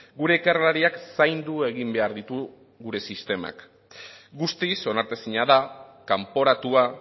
gure ikerlariak zaindu egin behar ditu gure sistemak guztiz onartezina da kanporatua